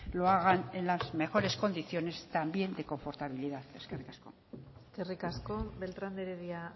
lo hagan en las mejores condiciones también de confortabilidad eskerrik asko eskerrik asko beltrán de heredia